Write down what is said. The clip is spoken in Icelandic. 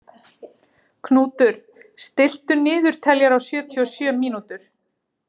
Knútur, stilltu niðurteljara á sjötíu og sjö mínútur.